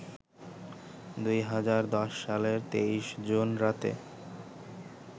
২০১০সালের ২৩ June রাতে